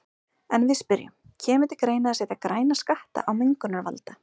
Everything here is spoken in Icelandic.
En við spyrjum, kemur til greina að setja græna skatta á mengunarvalda?